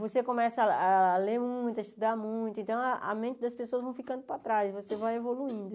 você começa a ler muito, a estudar muito, então a mente das pessoas vão ficando para trás, você vai evoluindo.